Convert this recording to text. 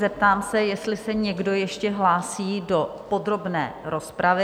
Zeptám se, jestli se někdo ještě hlásí do podrobné rozpravy?